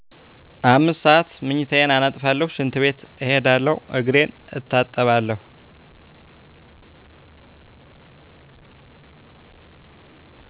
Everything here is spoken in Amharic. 5 ሰዓት ምኝታየን አነጥፉለሁ ሽንት ቤት እሄዳለሁ እግሬን እታጠባለሁ።